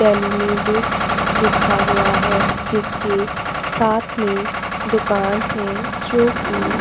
टेलिनी डिस लिखा हुआ है जिसके साथ में दुकान है जोकि --